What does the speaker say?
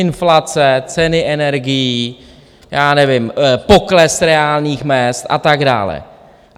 Inflace, ceny energií, já nevím, pokles reálných mezd a tak dále.